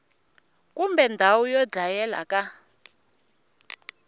kumbe ndhawu yo dlayela ka